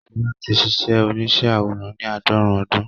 Ṣọlá ti ṣíṣe oníṣẹ́ àwòrán ní àádọ́rùn-ún ọdún